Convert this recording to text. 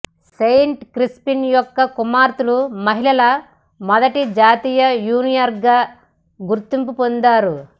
Saint Crispin యొక్క కుమార్తెలు మహిళల మొదటి జాతీయ యూనియన్గా గుర్తింపు పొందారు